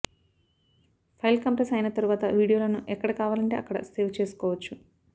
file compress అయిన తరువాత వీడియోలను ఎక్కడ కావాలంటే అక్కడ సేవ్ చేసుకోవచ్చు